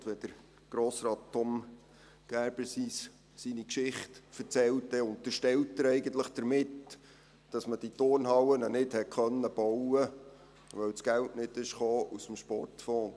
Und wenn Grossrat Tom Gerber seine Geschichte erzählt, dann unterstellt er eigentlich damit, dass man diese Turnhallen nicht bauen konnte, weil das Geld nicht aus dem Sportfonds kam.